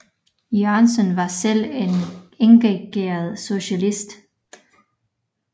Jørgensen var selv en engageret socialist